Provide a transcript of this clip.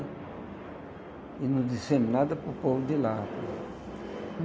E não dissemos nada para o povo de lá.